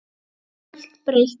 Samt er allt breytt.